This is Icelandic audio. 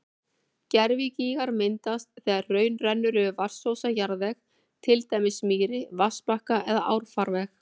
Gervigígar myndast þegar hraun rennur yfir vatnsósa jarðveg, til dæmis mýri, vatnsbakka eða árfarveg.